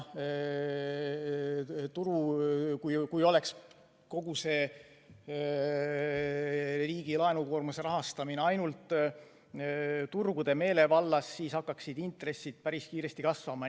Kui oleks kogu see riigi laenukoormuse rahastamine ainult turgude meelevallas, siis hakkaksid intressid päris kiiresti kasvama.